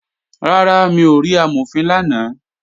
Rárá, mi ò rí Amọ̀fin lánàá